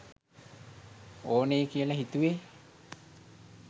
ඕනෙයි කියල හිතුවේ